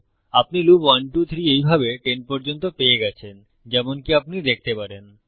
আপনি লুপ 123 এইভাবে 10 পর্যন্ত পেয়ে গেছেন যেমনকি আপনি দেখতে পারেন